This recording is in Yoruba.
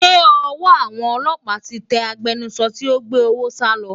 Ṣé ọwọ́ àwọn ọlọ́pàá ti tẹ agbẹnusọ tí ó gbé owó sálọ?